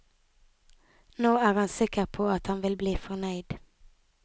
Nå er han sikker på at han vil bli fornøyd.